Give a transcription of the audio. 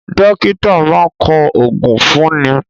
Dókítà máa ń kọ oògùn fún ni